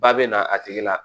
Ba bɛ na a tigi la